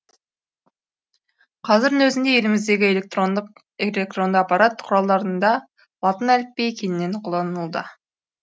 қазірдің өзінде еліміздегі электронды ақпарат құралдарында латын әліпбиі кеңінен қолданылуда